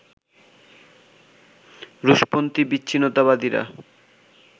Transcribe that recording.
রুশপন্থি বিচ্ছিন্নতাবাদীরা